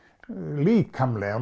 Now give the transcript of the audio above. líkamlega